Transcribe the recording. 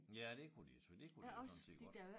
Ja det kunne de jo selvfølgelig det kunne de jo sådan set godt